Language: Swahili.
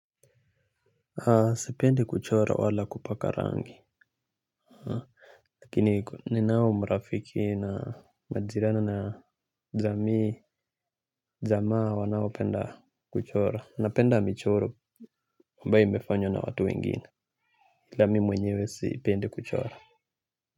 Sipendi kuchora wala kupaka rangi. Lakini ni nao mrafiki na majirani na jamaa wanao penda kuchora na penda michoro ambayo imefanywa na watu wengine ila mi mwenyewe si pendi kuchora.